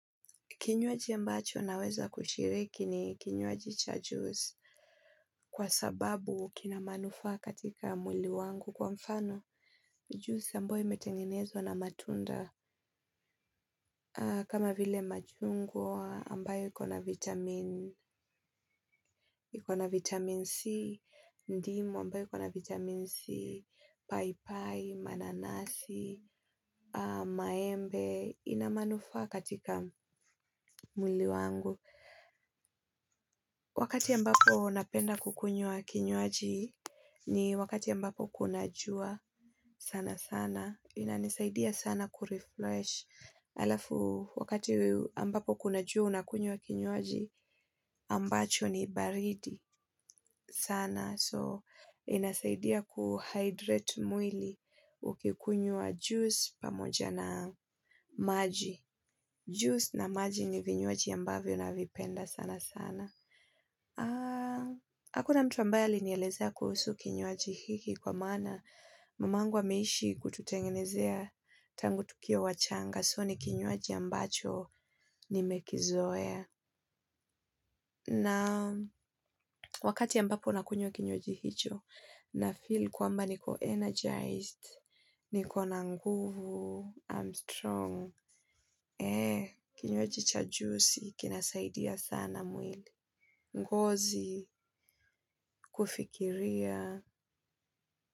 Kinywaji mbacho naweza kushiriki ni kinywaji cha juice. Kwa sababu kina manufaa katika mwili wangu kwa mfano juice ambayo imetenginezwa na matunda. Kama vile machungwa ambayo ikona vitamin ikona vitamin C, ndimu ambayo ikona vitamin C, pai pai, mananasi, maembe, inamanufaa katika mwili wangu. Wakati ambapo napenda kukunywa kinywaji ni wakati ambapo kuna jua sana sana. Inanisaidia sana kurefresh. Alafu, wakati ambapo kuna jua unakunywa kinywaji ambacho ni baridi sana. So, inasaidia kuhydrate mwili ukikunywa juice pamoja na maji. Juice na maji ni vinywaji ambavyo navipenda sana sana. Hakuna mtu ambaye alinielezea kuhusu kinywaji hiki kwa maana mamangu ameishi kututengenezea tangu tukiwa wachanga so ni kinywaji ambacho nimekizoea. Na wakati ambapo nakunywa kinywaji hicho nafeel kwamba niko energized, niko na nguvu, I'm strong, ee kinywaji cha juicy, kinasaidia sana mwili ngozi, kufikiria.